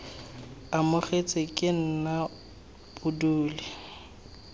amogetswe ke nna bo dule